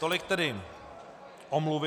Tolik tedy omluvy.